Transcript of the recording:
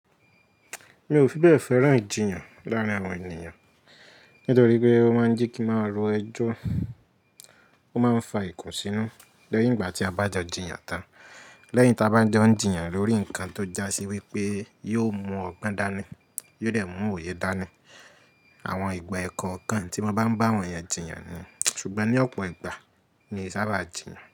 Mi ò fi bẹ́ẹ̀ fẹ́ràn ìjinyàn láàrin àwọn ènìyàn, nítorí pé ó máa ń jẹ́ kì n máa ro ẹjọ́, ó máa ń fa ìkùnsínú lẹ́yìn ìgbà tí a bá jọ jinyàn tán. Lẹ́yìn táa bá n jó jìnyàn lórí ǹkan tó já sí wípé yóò mú ọgbọ́n dání, yóò dẹ̀ mú òye dání. Àwọn ìgbà ẹ̀ẹ̀kọ̀kan tí mo bá ń bá àwọn èyàn jinyàn ni, ṣùgbọ́n ní ọ̀pọ̀ ìgbà mi e sábà jinyàn.